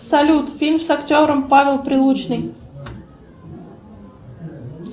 салют фильм с актером павел прилучный